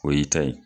O y'i ta ye